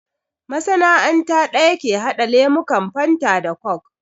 Masana'anta ɗaya ke haɗa lemukan fanta da kok